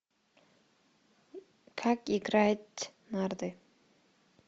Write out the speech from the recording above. как играть в нарды